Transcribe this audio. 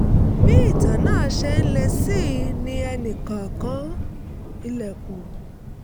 bí ìtàn náà ṣe ń le sí i ni ẹnì kan kan ilẹ̀kùn